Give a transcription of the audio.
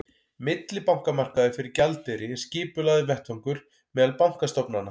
millibankamarkaður fyrir gjaldeyri er skipulagður vettvangur meðal bankastofnana